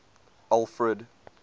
alfred